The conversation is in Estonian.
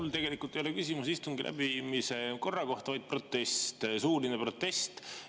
Mul tegelikult ei ole küsimus istungi läbiviimise korra kohta, vaid protest, suuline protest.